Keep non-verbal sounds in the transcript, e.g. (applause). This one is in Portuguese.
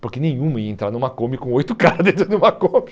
(laughs) Porque nenhuma ia entrar numa Kombi com oito caras dentro de uma Kombi.